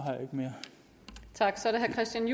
at sige